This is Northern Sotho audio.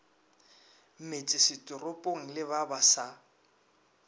metsesetoropong le ba ba sa